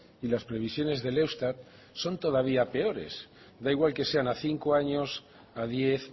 y las previsiones del eustat son todavía peores da igual que sean a cinco años a diez